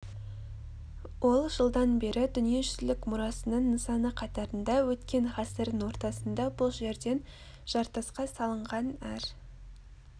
ол жылдан бері дүниежүзілік мұрасының нысаны қатарында өткен ғасырдың ортасында бұл жерден жартасқа салынған әр